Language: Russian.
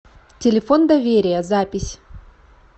телефон доверия запись